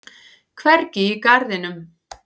Hvergi í garðinum.